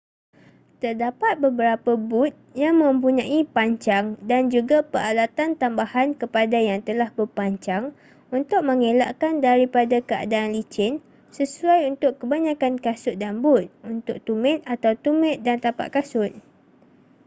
terdapat beberapa but yang mempunyai pancang dan juga peralatan tambahan kepada yang telah berpancang untuk mengelakkan daripada keadaan licin sesuai untuk kebanyakan kasut dan but untuk tumit atau tumit dan tapak kasut